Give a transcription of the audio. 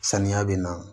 Saniya bɛ na